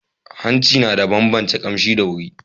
Hanshi na ban bance kamshi da wari